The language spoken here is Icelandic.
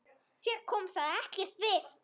Þér kom það ekkert við!